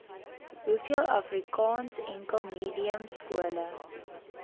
hoeveel afrikaansenkelmediumskole